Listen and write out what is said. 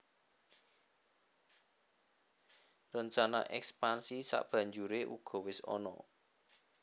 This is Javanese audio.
Rencana èkspansi sabanjuré uga wis ana